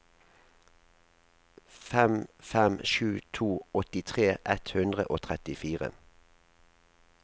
fem fem sju to åttitre ett hundre og trettifire